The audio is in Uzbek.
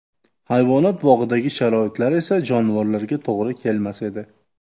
Hayvonot bog‘idagi sharoitlar esa jonivorlarga to‘g‘ri kelmas edi.